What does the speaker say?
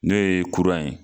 N'o ye kuran ye